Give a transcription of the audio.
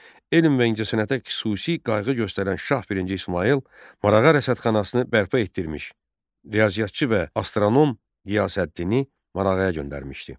Elm və incəsənətə xüsusi qayğı göstərən Şah birinci İsmayıl Marağa Rəsədxanasını bərpa etdirmiş, riyaziyyatçı və astronom Qiyasəddini Marağaya göndərmişdi.